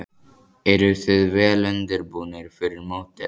Eruð þið vel undirbúnir fyrir mótið?